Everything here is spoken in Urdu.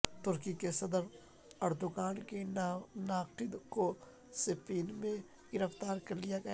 ترکی کے صدر اردوگان کے ناقد کو سپین میں گرفتار کر لیا گیا